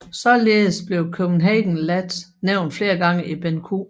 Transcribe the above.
Således bliver Copenhagen Lads nævnt flere gange i Benn Q